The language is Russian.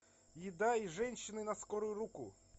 еда и женщины на скорую руку